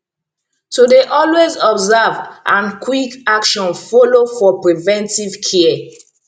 to dey alway observe and quick action follow for preventive care